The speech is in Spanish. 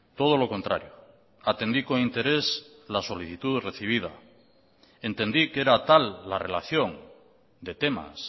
todo lo contrario atendí con interés la solicitud recibida entendí que era tal la relación de temas